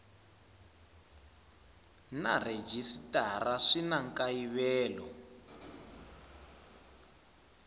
na rhejisitara swi na nkayivelo